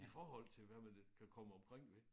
I forhold til hvad man kan komme omkring med